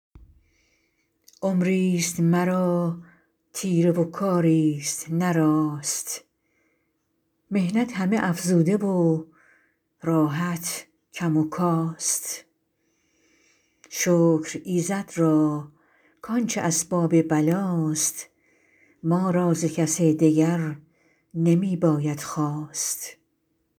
عمری ست مرا تیره و کاری ست نه راست محنت همه افزوده و راحت کم و کاست شکر ایزد را که آنچه اسباب بلا ست ما را ز کس دگر نمی باید خواست